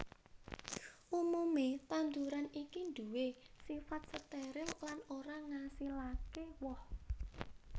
Umumé tanduran iki nduwé sifat steril lan ora ngasilaké woh